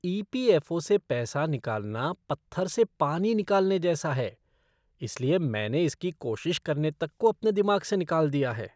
ई. P. F. O. से पैसा निकालना पत्थर से पानी निकालने जैसा है, इसलिए मैंने इसकी कोशिश करने तक को अपने दिमाग से निकाल दिया है।